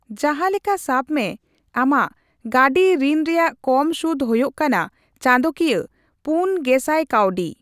ᱡᱟᱦᱟᱸ ᱞᱮᱠᱟ ᱥᱟᱵᱢᱮ, ᱟᱢᱟᱜ ᱜᱟᱺᱰᱤ ᱨᱤᱱ ᱨᱮᱭᱟᱜ ᱠᱚᱢ ᱥᱩᱫ ᱦᱳᱭᱳᱜ ᱠᱟᱱᱟ ᱪᱟᱸᱫᱳᱠᱤᱭᱟᱹ ᱔᱐᱐᱐ ᱠᱟᱹᱣᱰᱤ ᱾